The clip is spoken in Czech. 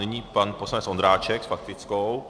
Nyní pan poslanec Ondráček s faktickou.